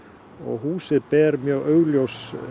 húsið ber mjög augljós